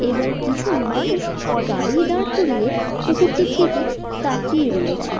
এবং কিছু মানুষ গাড়ি দাঁড় করিয়ে পুকুরটির দিকে তাকিয়ে রয়েছে।